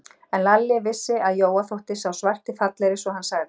En Lalli vissi, að Jóa þótti sá svarti fallegri, svo hann sagði